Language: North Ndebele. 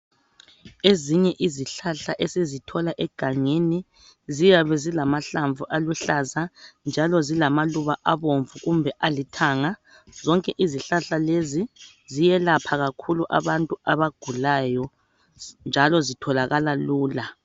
ezinye izihlahla esizithola egangeni ziyabe zilamahlamvu aluhlaza njalo zilama luba abomvu kumbe alithanga zonke izihlahla lezi ziyelapha kakhulu abantu abagulayo njalo zitholakala lula